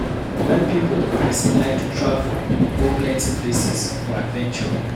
Wen pipo or person like to travel go plenty places for adventure